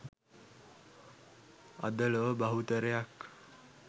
අද ලොව බහුතරයක්